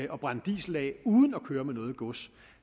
og brænde diesel af uden at køre med noget gods